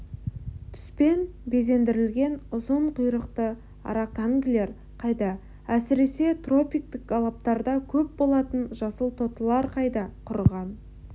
түспен безендірілген ұзын құйрықты араканглер қайда әсіресе тропиктік алаптарда көп болатын жасыл тотылар қайда құрыған